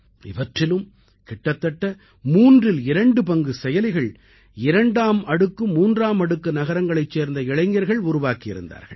இவற்றிலும் கிட்டத்தட்ட மூன்றில் இரண்டு பங்கு செயலிகள் இரண்டாம் அடுக்குமூன்றாம் அடுக்கு நகரங்களைச் சேர்ந்த இளைஞர்கள் உருவாக்கி இருந்தார்கள்